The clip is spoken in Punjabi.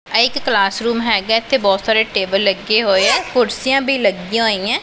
ਇਹ ਇੱਕ ਕਲਾਸ ਰੂਮ ਹੈਗਾ ਹੈ ਇੱਥੇ ਬੋਹੁਤ ਸਾਰੇ ਟੇਬਲ ਲੱਗੇ ਹੋਏ ਹੈਂ ਕੁਰਸੀਆਂ ਵੀ ਲੱਗਿਆਂ ਹੋਈ ਹੈਂ।